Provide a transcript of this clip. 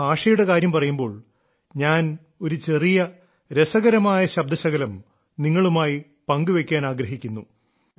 ഭാഷയുടെ കാര്യം പറയുമ്പോൾ ഞാൻ ഒരു ചെറിയ രസകരമായ ശബ്ദശകലം നിങ്ങളുമായി പങ്കുവെയ്ക്കാൻ ആഗ്രഹിക്കുന്നു